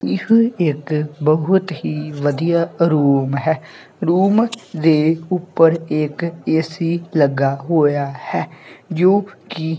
ਇਹ ਇੱਕ ਬਹੁਤ ਹੀ ਵਧੀਆ ਰੂਮ ਹੈ ਰੂਮ ਦੇ ਉੱਪਰ ਇੱਕ ਏ_ਸੀ ਲੱਗਾ ਹੋਇਆ ਹੈ ਜੋ ਕਿ--